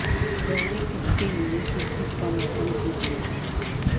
روئیے کس کے لیے کس کس کا ماتم کیجئے